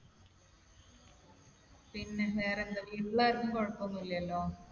പിന്നെ, വേറെന്താ? വീട്ടിൽ ആർക്കും കുഴപ്പമൊന്നുമില്ലല്ലോ?